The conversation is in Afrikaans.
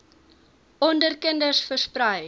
onder kinders versprei